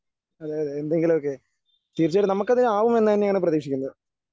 അതേയതേ എന്തെങ്കിലുമൊക്കെ. തീർച്ചയായിട്ടും നമുക്കതിന് ആവുമെന്ന് തന്നെയാണ് പ്രതീക്ഷിക്കുന്നത്.